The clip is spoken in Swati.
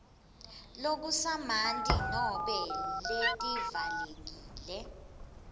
lokusamanti nobe letivalekile